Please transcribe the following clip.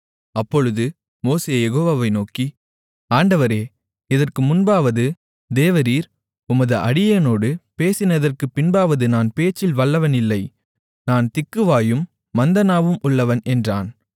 அப்பொழுது மோசே யெகோவாவை நோக்கி ஆண்டவரே இதற்கு முன்பாவது தேவரீர் உமது அடியேனோடு பேசினதற்குப் பின்பாவது நான் பேச்சில் வல்லவன் இல்லை நான் திக்குவாயும் மந்த நாவும் உள்ளவன் என்றான்